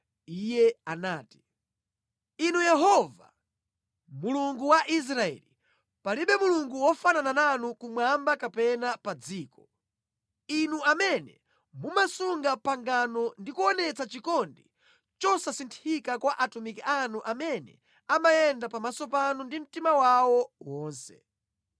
Iye anati, “Inu Yehova, Mulungu wa Israeli, palibe Mulungu wofanana nanu kumwamba kapena pa dziko. Inu amene mumasunga pangano ndi kuonetsa chikondi chosasinthika kwa atumiki anu amene amayenda pamaso panu ndi mtima wawo wonse.